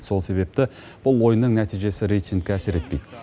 сол себепті бұл ойынның нәтижесі рейтингке әсер етпейді